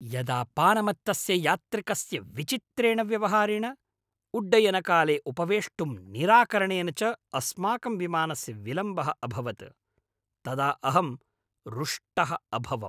यदा पानमत्तस्य यात्रिकस्य विचित्रेण व्यवहारेण, उड्डयनकाले उपवेष्टुं निराकरणेन च अस्माकं विमानस्य विलम्बः अभवत् तदा अहं रुष्टः अभवम्।